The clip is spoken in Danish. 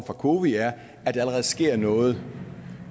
cowi er at der allerede sker noget